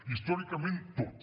històricament tot